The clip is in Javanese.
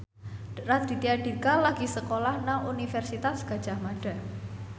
Raditya Dika lagi sekolah nang Universitas Gadjah Mada